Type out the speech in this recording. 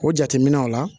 O jateminɛw la